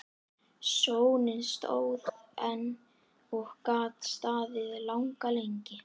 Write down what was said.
Sónninn stóð enn og gat staðið langa lengi.